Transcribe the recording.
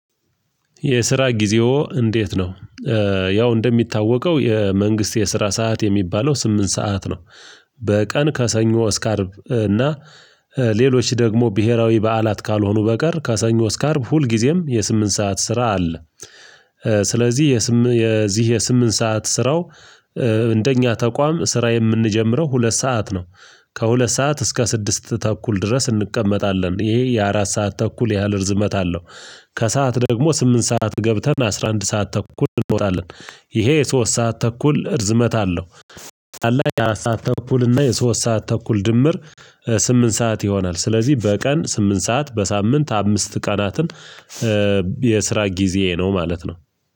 የስራ ጊዜዎ እንዴት ነው? ያው እንደሚታወቀው የመንግስት የስራ ሰዓት የሚባለው ስምንት ሰዓት ነው። በቀን ከሰኞ እስከ አርብ እና ሌሎች ደግሞ ብሄራዊ በዓላት ካልሆኑ በቀር ከሰኞ እስከ አርብ ሁልጊዜም የስምንት ሰዓት ስራ አለ። ስለዚህ የዚህ የስምንት ሰዓት ስራው እንደኛ ተቋም ስራ የምንጀምረው ሁለት ሰዓት ነው። ከሁለት ሰዓት እስከ ስድስት ተኩል ድረስ እንቀመጣለን ይሄ የአራት ሰዓት ተኩል ያህል እርዝመት አለው። ከሰአት ደግሞ ስምንት ሰዓት ገብተን አስራ አንድ ሰዓት ተኩል እንወጣለን። ይሄ የሶስት ሰዓት ተኩል እርዝመት አለው። አራት ሰዓት ተኩል እና የሶስት ሰዓት ተኩል ድምር ስምንት ሰዓት ይሆናል። ስለዚህ በቀን ስምንት ሰዓት በሳምንት አምስት ቀናትን የስራ ጊዜ ነው ማለት ነው።